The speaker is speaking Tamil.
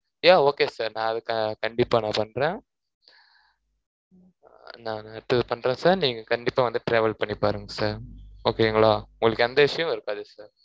yeah okay sir நான், அதுக்கு, கண்டிப்பா, நான் பண்றேன் நான் நேத்து பண்றேன் sir நீங்க கண்டிப்பா வந்துட்டு travel பண்ணி பாருங்க sir okay ங்களா? உங்களுக்கு எந்த issue வும் இருக்காது